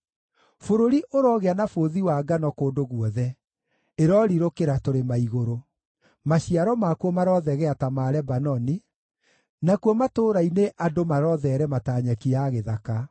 Bũrũri ũrogĩa na bũthi wa ngano kũndũ guothe; ĩrorirũkĩra tũrĩma-igũrũ. Maciaro makuo marothegea ta ma Lebanoni; nakuo matũũra-inĩ andũ marotheerema ta nyeki ya gĩthaka.